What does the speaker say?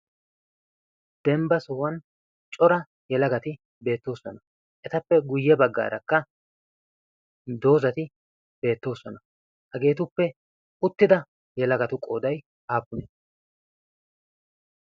dembba sohuwan cora yelagati beettooson.a etappe guyye baggaarakka doozati beettoosona hageetuppe uttida yelagatu qoodai haappune?